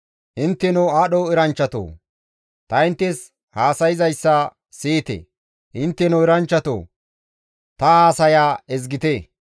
«Intteno aadho eranchchatoo! Ta inttes haasayzayssa siyite; intteno eranchchatoo ta haasaya ezgite.